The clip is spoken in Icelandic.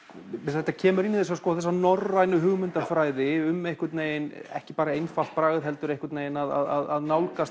þetta kemur inn í þessa þessa Norrænu hugmyndafræði ekki bara einfalt bragð heldur að